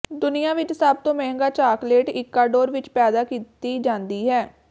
ਦੁਨੀਆਂ ਵਿਚ ਸਭ ਤੋਂ ਮਹਿੰਗਾ ਚਾਕਲੇਟ ਇਕੁਆਡੋਰ ਵਿਚ ਪੈਦਾ ਕੀਤੀ ਜਾਂਦੀ ਹੈ